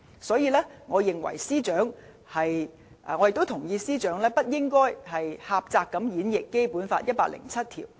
所以，我同意司長不應該狹窄演繹《基本法》第一百零七條。